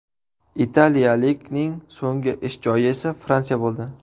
Italiyalikning so‘nggi ish joyi esa Fransiya bo‘ldi.